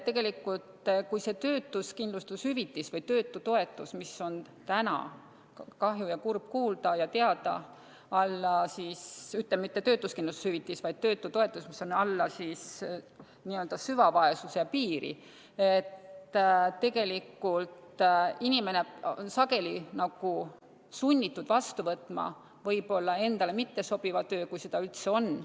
Tegelikult, kui see töötutoetus, mis on täna – kahju ja kurb kuulda ja teada – alla süvavaesuse piiri, siis tegelikult inimene on sageli sunnitud vastu võtma võib-olla endale mittesobiva töö, kui seda üldse on.